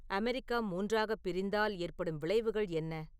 America மூன்றாகப் பிரிந்தால் ஏற்படும் விளைவுகள் என்ன